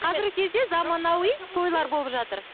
қазіргі кезде заманауи тойлар болып жатыр